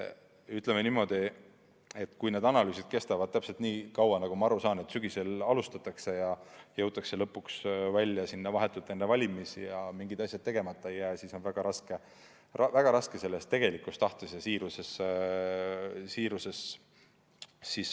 Ütleme niimoodi, et kui need analüüsid kestavad väga kaua – ma saan aru, et sügisel alustatakse ja ehk jõutakse lõpuks aega vahetult enne valimisi, nii et mingid asjad tegemata ei jää –, siis on väga raske olla veendunud selles tegelikus tahtes ja siiruses.